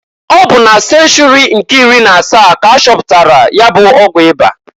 Ọ bụ na senchuri nke iri na asaa k'achọpụtalụ nya bụ ọgwụ ịba.